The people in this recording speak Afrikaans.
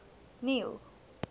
neil